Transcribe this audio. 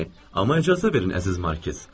Amma icazə verin, əziz Markiz.